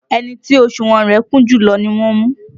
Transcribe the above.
Ẹni tí òsùnwọ̀n rẹ̀ kún jùlọ ni wọ́n mú